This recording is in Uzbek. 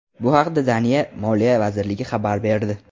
Bu haqda Daniya Moliya vazirligi xabar berdi .